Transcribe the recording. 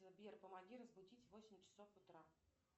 сбер помоги разбудить в восемь часов утра